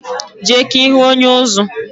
Je ka ihu onye-uzú